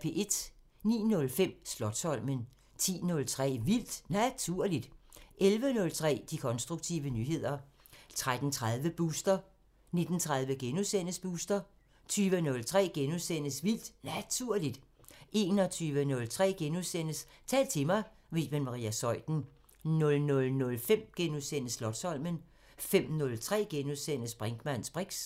09:05: Slotsholmen 10:03: Vildt Naturligt 11:03: De konstruktive nyheder 13:30: Booster 19:30: Booster * 20:03: Vildt Naturligt * 21:03: Tal til mig – med Iben Maria Zeuthen * 00:05: Slotsholmen * 05:03: Brinkmanns briks *